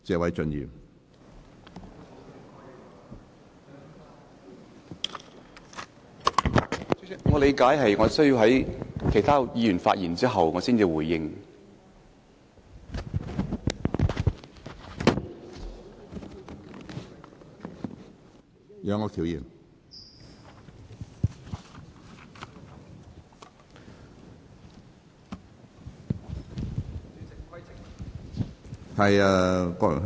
主席，據我理解，我應在其他議員發言後才作出回應。